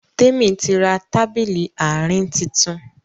Temi tí rá Tábìlì Àárín títún